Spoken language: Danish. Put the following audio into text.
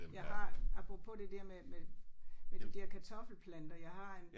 Jeg har apropos det der med med med de der kartoffelplanter jeg har en